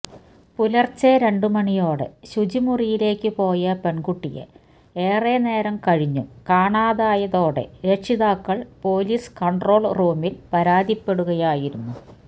പുലര്ച്ചെ രണ്ടുമണിയോടെ ശുചിമുറിയിലേക്കു പോയ പെണ്കുട്ടിയെ ഏറെ നേരം കഴിഞ്ഞും കാണാതായതോടെ രക്ഷിതാക്കള് പോലിസ് കണ്ട്രോള് റൂമില് പരാതിപ്പെടുകയായിരുന്നു